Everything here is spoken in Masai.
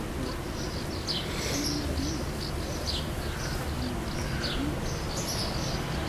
Ore orkereti lejung'ore naa kepaasha enaa enaikununo entalipa.